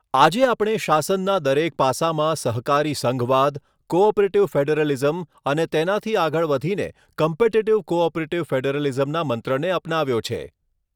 આજે આપણે શાસનના દરેક પાસામાં સહકારી સંઘવાદ, કૉ ઑપરેટિવ ફૅડરલિઝમ અને તેનાથી આગળ વધીને કમ્પિટિટિવ કૉઑપરેટિવ ફૅડરલિઝમના મંત્રને અપનાવ્યો છે